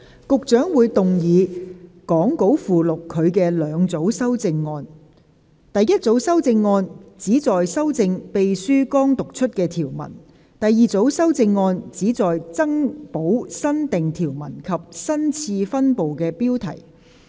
局長會動議講稿附錄他的兩組修正案：第一組修正案旨在修正秘書剛讀出的條文；第二組修正案旨在增補新訂條文及新次分部的標題。